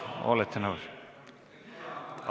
Olete nõus?